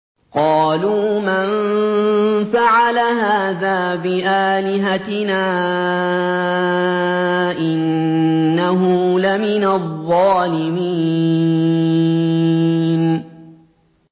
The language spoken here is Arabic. قَالُوا مَن فَعَلَ هَٰذَا بِآلِهَتِنَا إِنَّهُ لَمِنَ الظَّالِمِينَ